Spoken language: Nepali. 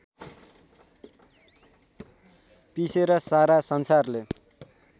पिसेर सारा संसारले